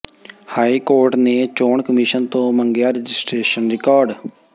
high court ਨੇ ਚੋਣ commission ਤੋਂ ਮੰਗਿਆ ਰਜਿਸਟਰੇਸ਼ਨ ਰਿਕਾਰਡ